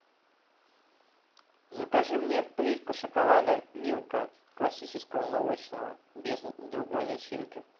закажи мне плитку шоколада милка классического молочного без другой начинки